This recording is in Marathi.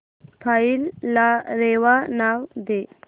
फाईल ला रेवा नाव दे